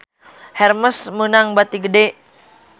Hermes meunang bati gede